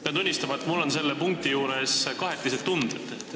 Pean tunnistama, et mul on selle punkti juures kahetised tunded.